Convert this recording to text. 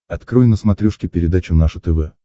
открой на смотрешке передачу наше тв